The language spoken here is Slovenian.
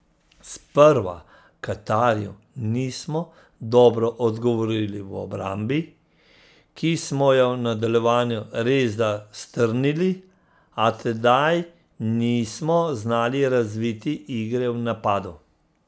Sprva Katarju nismo dobro odgovorili v obrambi, ki smo jo v nadaljevanju resda strnili, a tedaj nismo znali razviti igre v napadu.